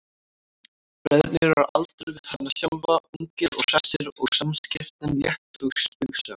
Bræðurnir eru á aldur við hana sjálfa, ungir og hressir og samskiptin létt og spaugsöm.